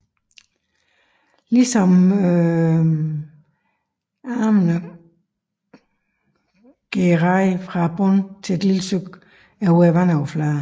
Ligesom armene går raden fra bunden til et lille stykke over vandoverfladen